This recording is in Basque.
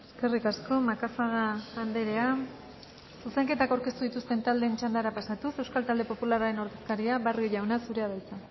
eskerrik asko macazaga andrea zuzenketak aurkeztu dituzten taldeen txandara pasatuz euskal talde popularraren ordezkaria barrio jauna zurea da hitza